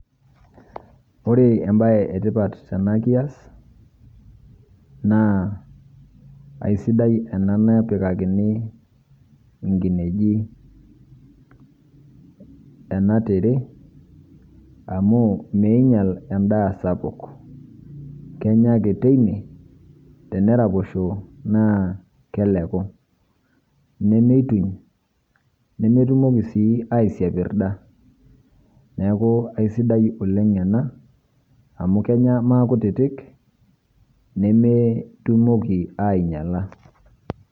Ore ebae etipat tena kias, naa aisidai ena napikakini inkinejik ena tire, amu miinyal endaa sapuk. Kenya ake teine, ore peraposho naa keleku, nemeidim, nemetumoki naa aisiapirda. Neeku aisidai oleng ena, amu kenya maakutiti, nemetumoki ainyala.